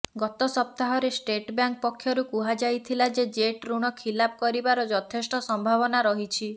ଗତ ସପ୍ତାହରେ State Bank ପକ୍ଷରୁ କୁହାଯାଇଥିଲା ଯେ ଜେଟ୍ ଋଣ ଖିଲାପ କରିବାର ଯଥେଷ୍ଟ ସମ୍ଭାବନା ରହିଛି